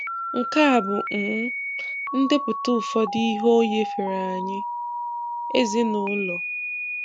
Nke a bụ um ndepụta ụfọdụ ihe O nyefere anyị: Ezinụlọ